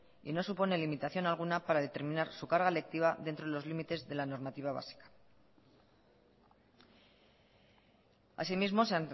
y no supone limitación alguna para determinar su carga lectiva dentro de los límites de la normativa básica asimismo se